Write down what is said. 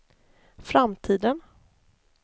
framtiden